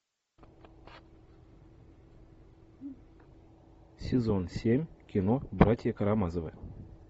сезон семь кино братья карамазовы